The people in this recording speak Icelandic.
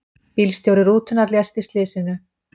Bílstjóri rútunnar lést í slysinu